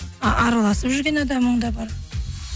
араласып жүрген адамың да бар